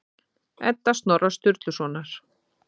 Edda Snorra Sturlusonar.